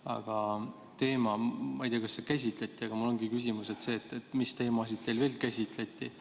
Aga minu küsimus – ma ei tea, kas seda käsitleti – ongi see, et mis teemasid teil veel käsitleti.